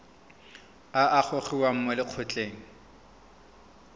a a gogiwang mo lokgethong